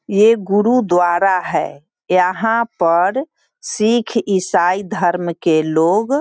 ये गुरुद्वारा है यहाँ पर सिख ईसाई धर्म के लोग --